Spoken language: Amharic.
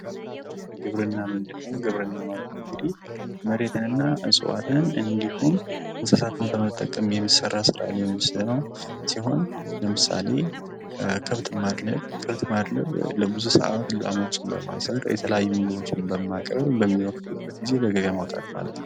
ግብርና ምንድነው? ግብርና እንግዲ መሬትንና እጽዋትን እንዲሁም እንስሳትን በመጠቀም የሚሰራ ስራ ሲሆን ለምሳሌ ከብትን ማድለብ ለብዙ ሰዓት ላሞችን በማሰር የተለያዩ ምግቦችን በማቅረብ በሚወፍሩበት ጊዜ ለገበያ መውጣት ማለት ነው።